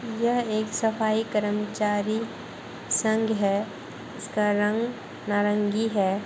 यह एक सफाई कर्मचारी संघ है इसका रंग नारंगी है।